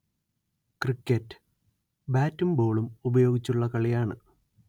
cricket ബാറ്റും ബോളും ഉപയോഗിച്ചുള്ള കളിയാണ്